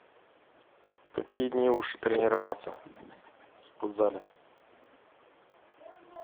в какие дни лучше тренироваться в спортзале